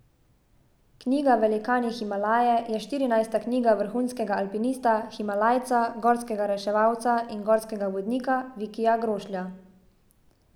Knjiga Velikani Himalaje je štirinajsta knjiga vrhunskega alpinista, himalajca, gorskega reševalca in gorskega vodnika Vikija Grošlja.